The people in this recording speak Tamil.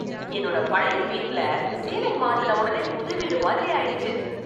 என்னோட பழைய வீட்ல சீலிங் மாத்துன உடனே புது வீடு மாதிரி ஆயிடுச்சு.